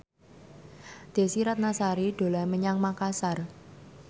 Desy Ratnasari dolan menyang Makasar